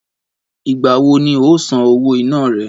Ìgbà wo ni o óò san owó iná re?